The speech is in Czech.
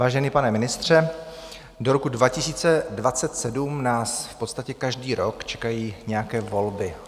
Vážený pane ministře, do roku 2027 nás v podstatě každý rok čekají nějaké volby.